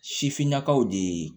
Sifinnakaw de